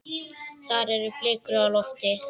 Þar eru blikur á lofti.